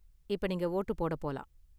இப்ப நீங்க ஓட்டு போடப் போலாம்.